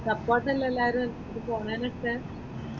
Support അല്ലെ എല്ലാവരും ഇത് പോന്നതിനൊക്കെ?